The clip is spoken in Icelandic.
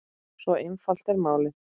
Svo einfalt er málið.